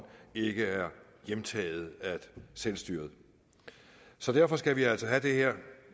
ikke er hjemtaget af selvstyret så derfor skal vi altså have det her